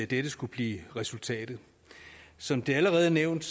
dette skulle blive resultatet som det allerede er nævnt